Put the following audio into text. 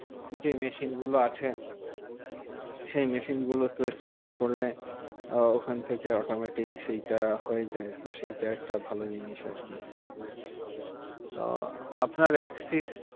যে মেশিন গুলো আছে সেই মেশিন গুলোতে swipe করলে ওখান থেকে automatic সেইটা হয়ে যায়। তো সেইটা একটা ভালো জিনিস আরকি। আহ আপনার এক্সিস